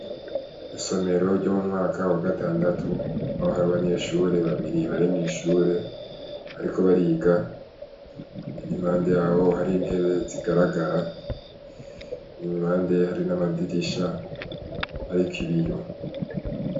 Isomero ryo mu mwaka wa gatandatu aho hari abanyeshure babiri bari mw’ ishure, bariko bariga impande yabo hari intebe zigaragara impande hari n'amadirisha, ariko ibiyo.